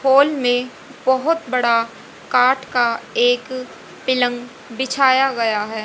Hall में बहोत बड़ा काठ का एक पिलंग बिछाया गया है।